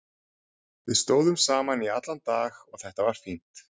Við stóðum saman í allan dag og þetta var fínt.